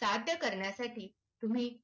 साध्य करण्यासाठी तुम्ही